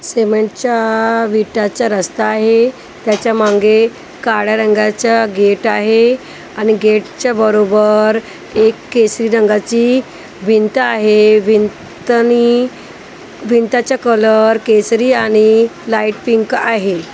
सीमेंटच्या विटाचा रस्ता आहे त्याच्या मागे काळ्या रंगाचं गेट आहे आणि गेटच्या बरोबर एक केसरी रंगाची भिंत आहे भिंतनी भिंताच्या कलर केसरी आणि लाईट पिंक आहे.